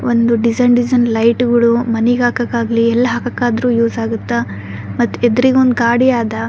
ಒಂದು design design ಲೈಟ್ಗುಳು ಮನಿಗ್ ಹಾಕಕ್ ಆಗ್ಲಿ ಎಲ್ ಹಾಕಕ್ ಆದ್ರೂ ಯೂಸ್ ಆಗತ್ತಾ ಮತ್ತ್ ಎದ್ರಿಗ ಒಂದು ಗಾಡಿ ಅದ .